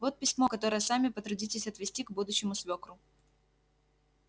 вот письмо которое сами потрудитесь отвезти к будущему свёкру